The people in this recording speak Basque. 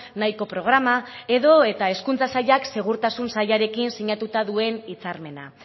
nahiko programa edota hezkuntza sailak segurtasun sailarekin sinatuta duen hitzarmena